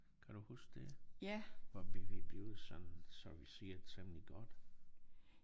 Kan du huske det? Hvor vi vi blev sådan serviceret temmelig godt